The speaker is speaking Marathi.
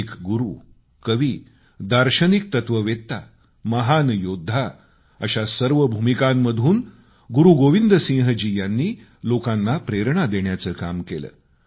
एक गुरू कवी दार्शनिकतत्ववेत्ता महान योद्धा अशा सर्व भूमिकांमधून गुरूगोविंद सिंहजी यांनी लोकांना प्रेरणा देण्याचं काम केलं